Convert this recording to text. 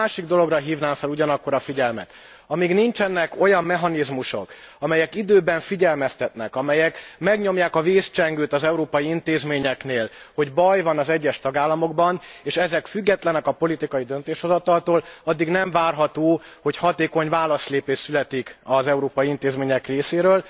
Én egy másik dologra hívnám fel ugyanakkor a figyelmet amíg nincsenek olyan mechanizmusok, amelyek időben figyelmeztetnek, amelyek megnyomják a vészcsengőt az európai intézményeknél, hogy baj van az egyes tagállamokban, és ezek függetlenek a politikai döntéshozataltól, addig nem várható, hogy hatékony válaszlépés születik az európai intézmények részéről.